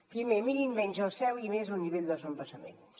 primer mirin menys el cel i més el nivell dels embassaments